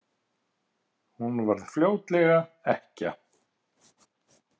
Hún varð fljótlega ekkja.